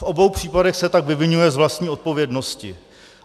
V obou případech se tak vyviňuje z vlastní odpovědnosti.